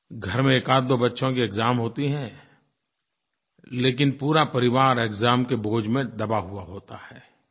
घर में एकआध दो बच्चों की एक्साम होती हैं लेकिन पूरा परिवार एक्साम के बोझ में दबा हुआ होता है